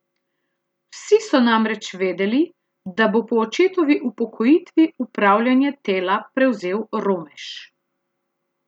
Vsi so namreč vedeli, da bo po očetovi upokojitvi upravljanje Tela prevzel Romeš.